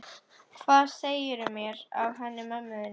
Hvað segirðu mér af henni mömmu þinni?